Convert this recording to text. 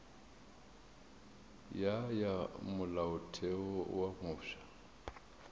ya ya molaotheo wo mofsa